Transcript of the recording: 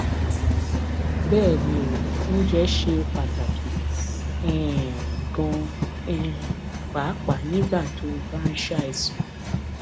bẹ́ẹ̀ ni o oúnjẹ ṣe pàtàkì um ganan um pàápàá nígbà tó o bá ń ṣàìsàn